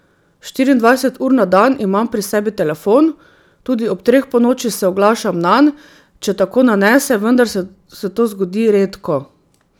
Štiriindvajset ur na dan imam pri sebi telefon, tudi ob treh ponoči se oglašam nanj, če tako nanese, vendar se to zgodi redko.